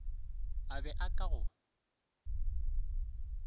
a be a ka go